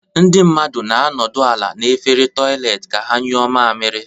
Ndị mmadụ na-anọdụ ala n'efere toịletị ka ha nyụọ mamiri.